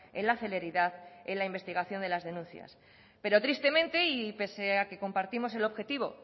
en la celeridad en la investigación de las denuncias pero tristemente y pese a que compartimos el objetivo